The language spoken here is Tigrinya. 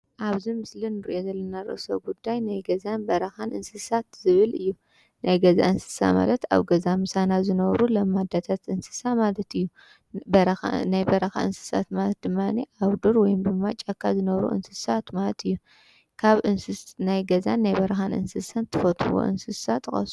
ኣብዚ ምስሊ እንሪኦ ዘለና ርእሰ ጉዳይ ናይ ገዛን በረኻን እንስሳት ዝብል እዩ፡፡ ናይ ገዛ እንስሳ ማለት ኣብ ገዛ ምሳና ዝነብሩ ለማዳታት እንስሳ ማለት እዩ። ናይ በረኻ እንስሳት ማለት ድማ ኣብ ዱር ወይ ድማ ኣብ ጫካ ዝነብሩ እንስሳት ማለት እዮም። ካብ ናይ ገዛን ናይ በረኻን እንስሳት እትፈልጥዎ እንስሳ ጥቀሱ?